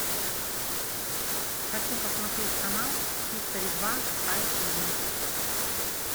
хочу посмотреть канал хистори два эйчди